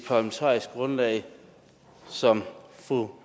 parlamentariske grundlag som fru